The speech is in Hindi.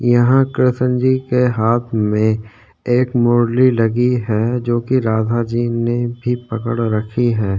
यहाँ कृष्ण जी के हाथ में एक मुरली लगी है जोकि राधा जी ने पकड़ रखी हैं।